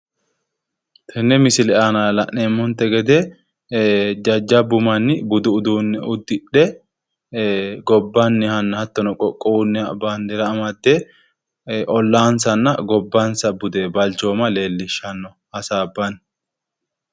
Tenne misile la'neemmonte gede jajjabbu manni budu uduunne udidhe gobbannihanna hattonni qoqqowunniha bandeera amadde ollaansanna gobbansa bude leellishanno hasaabbanni.